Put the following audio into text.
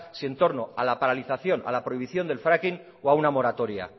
si en torno a la paralización a la prohibición del fracking o a una moratoria